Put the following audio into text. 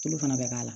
Tulu fana bɛ k'a la